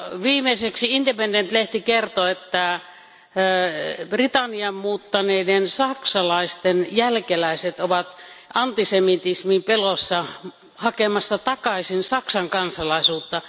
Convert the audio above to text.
Viimeiseksi Independent lehti kertoi, että Britanniaan muuttaneiden saksalaisten jälkeläiset ovat antisemitismin pelossa hakemassa takaisin Saksan kansalaisuutta.